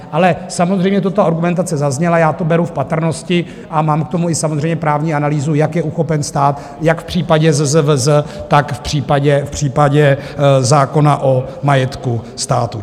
Ale samozřejmě ta argumentace zazněla, já to beru v patrnosti a mám k tomu i samozřejmě právní analýzu, jak je uchopen stát jak v případě ZZVZ, tak v případě zákona o majetku státu.